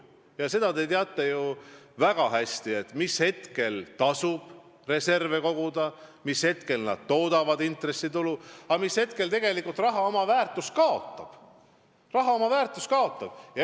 Ja sedagi te teate ju väga hästi, mis ajal tasub reserve koguda, mis ajal need toodavad intressitulu ja mis ajal tegelikult raha kaotab oma väärtust.